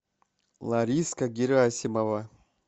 лариска герасимова